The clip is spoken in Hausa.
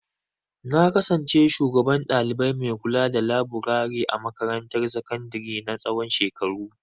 Na kasance shugaban ɗalibai mai kulada laburare a makarantar sakandare na tsawon shekaru.